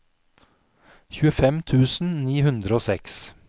tjuefem tusen ni hundre og seks